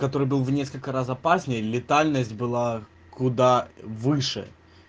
который был в несколько раз опаснее летальность было куда выше